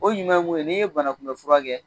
O ɲuman ye mun ye n'i ye banakunmɛn fura kɛ